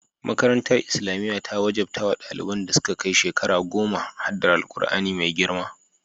Makarantar Islamiyya ta wajabta wa daliban da suka kai shekara goma haddar Alkur'ani mai girma.